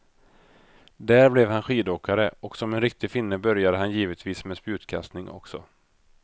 Där blev han skidåkare och som en riktig finne började han givetvis med spjutkastning också.